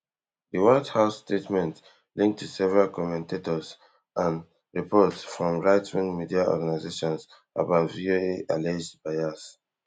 di white house statement link to several commentators and reports from rightwing media organisations about voa alleged bias